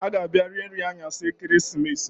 Ha ga-abia rie nri aṅyasị ekeresimesi